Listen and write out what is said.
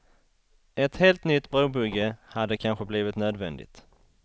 Ett helt nytt brobygge hade kanske blivit nödvändigt.